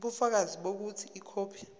ubufakazi bokuthi ikhophi